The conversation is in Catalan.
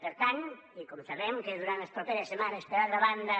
per tant i com sabem que durant les properes setmanes per altra banda